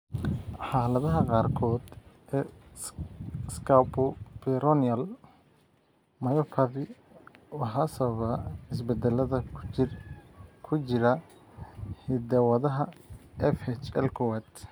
Xaaladaha qaarkood ee scapupoperoneal myopathy waxaa sababa isbeddellada ku jira hidda-wadaha FHL kowad.